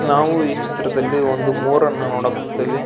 ನಾವು ಈ ಚಿತ್ರದಲ್ಲಿ ಒಂದು ಮೋರ್ ನ್ನು ನೋಡಕ್ ಕುಂತೀವಿ.